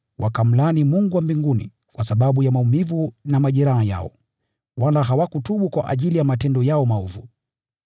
wakamlaani Mungu wa mbinguni kwa sababu ya maumivu na majeraha yao, wala hawakutubu kwa ajili ya matendo yao maovu.